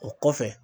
O kɔfɛ